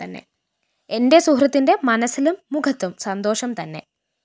എന്റെ സുഹൃത്തിന്റെ മനസ്സിലും മുഖത്തും സന്തോഷം തന്നെ